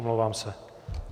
Omlouvám se.